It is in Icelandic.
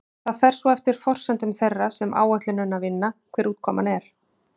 Það fer svo eftir forsendum þeirra sem áætlunina vinna hver útkoman er.